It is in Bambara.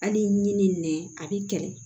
Hali ni nɛn a b'i kɛlɛ